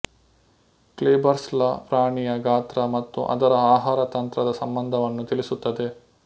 Kleiber's law ಪ್ರಾಣಿಯ ಗಾತ್ರ ಮತ್ತು ಅದರ ಆಹಾರ ತಂತ್ರದ ಸಂಬಂಧವನ್ನು ತಿಳಿಸುತ್ತದೆ